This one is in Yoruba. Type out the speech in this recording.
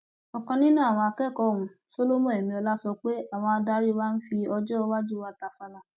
ọkan nínú àwọn akẹkọọ ọhún solomon emiola sọ pé àwọn adarí wa ń fi ọjọ iwájú wa tàfàlà